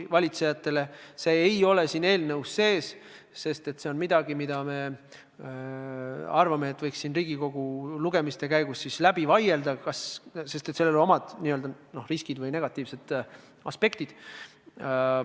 Seda ei ole siin eelnõus sees, sest see on midagi, mida meie arvates võiks Riigikogu lugemiste käigus läbi vaielda, sest sellel on oma riskid või negatiivsed aspektid.